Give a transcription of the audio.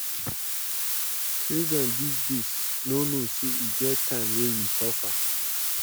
Children dis days no know say e get time wen we suffer